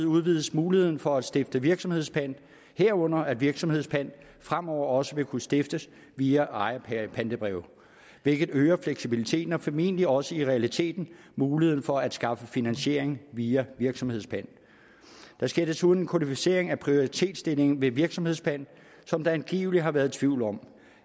udvides muligheden for at stifte virksomhedspant herunder at virksomhedspant fremover også vil kunne stiftes via ejerpantebreve hvilket øger fleksibiliteten og formentlig også i realiteten muligheden for at skaffe finansiering via virksomhedspant der sker desuden kodificering af prioritetsstillingen ved virksomhedspant som der angiveligt har været tvivl om